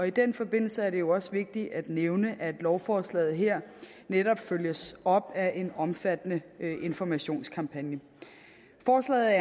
i den forbindelse er det jo også vigtigt at nævne at lovforslaget her netop følges op af en omfattende informationskampagne forslaget